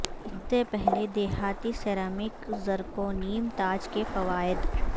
اس سے پہلے دھاتی سیرامک زرکونیم تاج کے فوائد